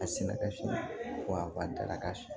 A sɛnɛkɛfin wa dalaka